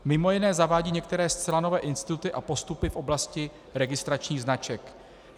Mimo jiné zavádí některé zcela nové instituty a postupy v oblasti registračních značek.